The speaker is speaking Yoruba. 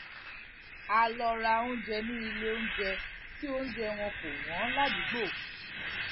a lọ ra oúnjẹ ní iléoúnjẹ tí oúnjẹ wọn kò wọn ládùúgbò